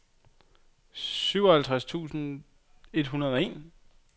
syvoghalvtreds tusind et hundrede og en